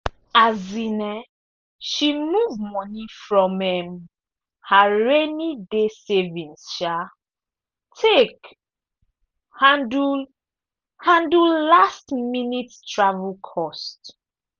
um she move money from um her rainy-day savings um take handle handle last-minute travel cost.